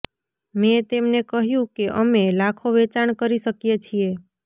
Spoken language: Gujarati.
મેં તેમને કહ્યું કે અમે લાખો વેચાણ કરી શકીએ છીએ